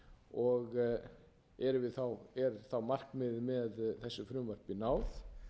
og er þá markmiði með þessu frumvarpi náð